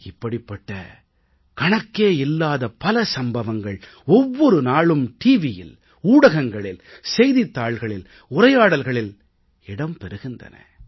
இப்படிப்பட்ட கணக்கே இல்லாத பல சம்பவங்கள் ஒவ்வொரு நாளும் டிவியில் ஊடகங்களில் செய்தித் தாள்களில் உரையாடல்களில் இடம் பெறுகின்றன